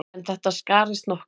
En þetta skarist nokkuð.